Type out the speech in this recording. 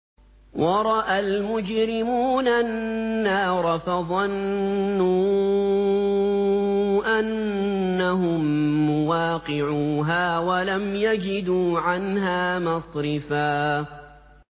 وَرَأَى الْمُجْرِمُونَ النَّارَ فَظَنُّوا أَنَّهُم مُّوَاقِعُوهَا وَلَمْ يَجِدُوا عَنْهَا مَصْرِفًا